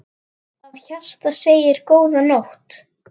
Af hjarta segið: GÓÐA NÓTT.